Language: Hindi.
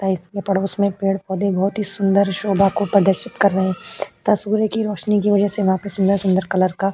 पड़ोस में पेड़-पौधे बहुत ही सुंदर शोभा को प्रदर्शित कर रहे हैं। तस्वीर की रोशनी की वजह से वहाँ पे सुंदर-सुंदर कलर का --